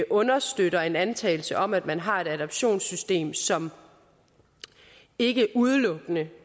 understøtter en antagelse om at man har et adoptionssystem som ikke udelukkende